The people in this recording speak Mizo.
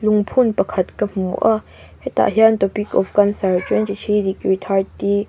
lungphun pakhat ka hmu a hetah hian topic of cancer twenty three degree thirty --